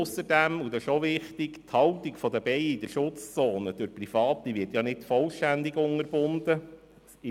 Ausserdem gilt es zu berücksichtigen, dass die Haltung von Bienen in den Schutzzonen nicht vollständig unterbunden wird.